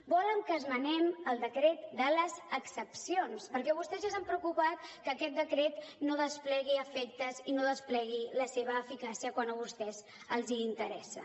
volen que esmenem el decret de les excepcions perquè vostès ja s’han preocupat que aquest decret no desplegui efectes i no desplegui la seva eficàcia quan a vostès els interessa